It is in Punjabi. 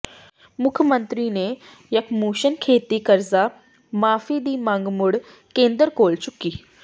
ਮੁੱਖ ਮੰਤਰੀ ਨੇ ਯਕਮੁਸ਼ਤ ਖੇਤੀ ਕਰਜ਼ਾ ਮੁਆਫੀ ਦੀ ਮੰਗ ਮੁੜ ਕੇਂਦਰ ਕੋਲ ਚੁੱਕੀ